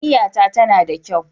Niyyata tana da kyau.